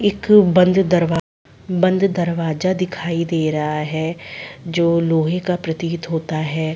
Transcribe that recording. एक बंद दरवा बंद दरवाजा दिखाई दे रहा है जो लोहे का प्रतीत होता है।